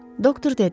Doktor dedi.